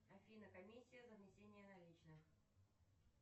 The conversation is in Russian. афина комиссия за внесение наличных